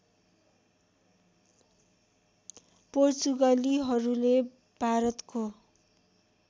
पोर्चुगलीहरूले भारतको